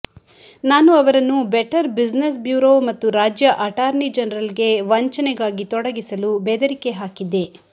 ನಾನು ಅವರನ್ನು better business bureau ಮತ್ತು ರಾಜ್ಯ ಅಟಾರ್ನಿ ಜನರಲ್ಗೆ ವಂಚನೆಗಾಗಿ ತೊಡಗಿಸಲು ಬೆದರಿಕೆ ಹಾಕಿದ್ದೆ